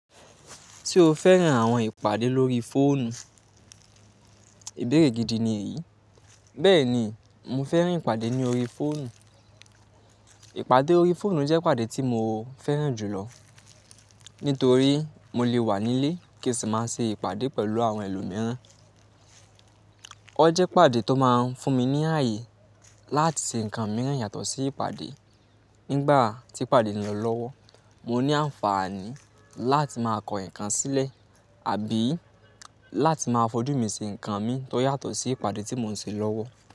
Tí o fẹ́ran àwọn ìpàdé lórí fóònù, ìbéèrè gidi ni èyí. Bẹ́ẹ̀ni, mo fẹ́rin ìpàdé ní orí fóònù. Ìpàdé orí fóònù jẹ́ ìpàdé tí mo fẹ́ràn jùlọ nítorí mo lè wà nílé kí sì máa ṣe ìpàdé pẹ̀lú àwọn ẹlòmíràn. Ó jẹ́ ìpàdé tó máa ń fún mi ní ààyè láti ṣe nǹkan mìírin yàtọ̀ sí ìpàdé. Nígbà tí ìpàdé ń lọ lọ́wọ́, mo ní àǹfààní láti máa kọ ǹkan sílẹ̀ àbí láti máa fojú mi ṣi ǹkan mi tó yàtọ̀ sí ìpàdé tí mò ń ṣe lọ́wọ́.